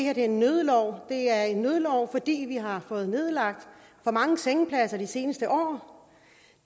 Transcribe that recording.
er en nødlov det er en nødlov fordi vi har fået nedlagt for mange sengepladser de seneste år